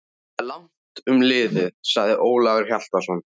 Það er langt um liðið, sagði Ólafur Hjaltason.